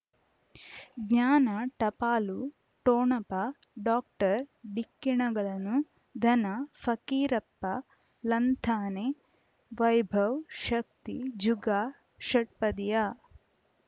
ಜ್ಞಾನ ಟಪಾಲು ಠೊಣಪ ಡಾಕ್ಟರ್ ಢಿಕ್ಕಿ ಣಗಳನು ಧನ ಫಕೀರಪ್ಪ ಳಂತಾನೆ ವೈಭವ್ ಶಕ್ತಿ ಜುಗಾ ಷಟ್ಪದಿಯ